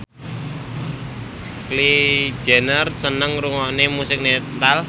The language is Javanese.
Kylie Jenner seneng ngrungokne musik metal